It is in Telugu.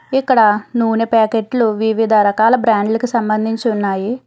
ఇక్కడ నూనె ప్యాకెట్లు వివిధ రకాల బ్రాండ్లకు సంబంధించి ఉన్నాయి.